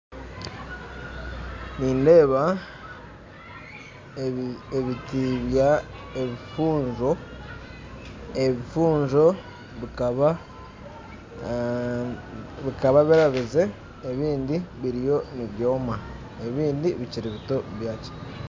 Nindeeba ebiti bya ebifunzo bikaba birabize ebindi biriyo nibyoma ebindi bikyiri bito